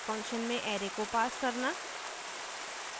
function में array को pass करना